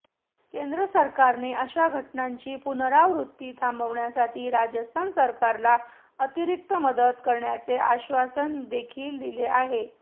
केंद्र सरकारने अशा घटनांची पुनरावृत्ती थांबवण्यासाठी राजस्थान सरकारला अतिरिक्त मदत करण्याचे आश्वासन देखील दिले आहे